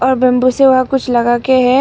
Bamboo से वहां कुछ लगा के है।